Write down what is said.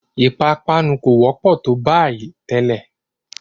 Ìpápánu kò wọ́pọ̀ tó bayìí tẹ́lẹ̀.